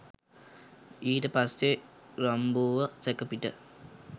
ඊට පස්සේ රම්බෝව සැකපිට